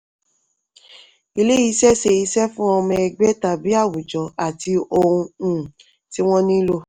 ilé-iṣẹ́ ṣe iṣẹ́ fún ọmọ ẹgbẹ́ tàbí awùjọ àti ohun um tí wọ́n nílò.